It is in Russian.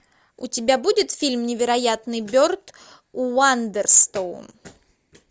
у тебя будет фильм невероятный берт уандерстоун